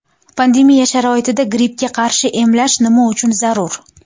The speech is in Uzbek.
Pandemiya sharoitida grippga qarshi emlash nima uchun zarur?